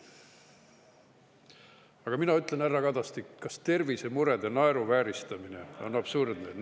Aga mina ütlen, härra Kadastik, kas tervisemurede naeruvääristamine on absurdne?